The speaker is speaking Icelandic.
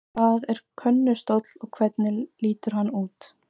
Hvað er könnustóll og hvernig lítur hann út?